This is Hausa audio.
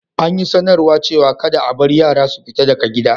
An sanar cewa kadda a bar yara su fita daga gida.